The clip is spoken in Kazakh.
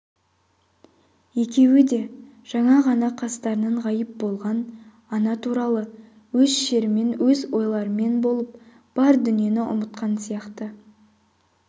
екеуі де жаңа ғана қастарынан ғайып болған ана туралы өз шерімен өз ойларымен болып бар дүниені ұмытқан сияқты